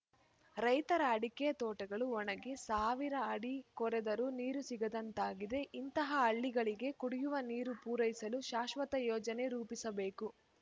ರೈತರ ಅಡಕೆ ತೋಟಗಳು ಒಣಗಿ ಸಾವಿರ ಅಡಿ ಕೊರೆದರೂ ನೀರು ಸಿಗದಂತಾಗಿದೆ ಇಂತಹ ಹಳ್ಳಿಗಳಿಗೆ ಕುಡಿಯುವ ನೀರು ಪೂರೈಸಲು ಶಾಶ್ವತ ಯೋಜನೆ ರೂಪಿಸಬೇಕು